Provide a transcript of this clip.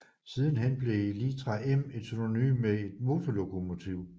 Sidenhen blev litra M et synonym med et motorlokomotiv